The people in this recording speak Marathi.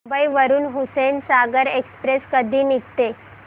मुंबई वरून हुसेनसागर एक्सप्रेस कधी निघते